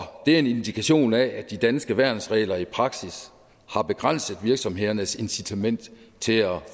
er en indikation af at de danske værnsregler i praksis har begrænset virksomhedernes incitament til at